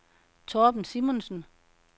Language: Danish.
Torben Simonsen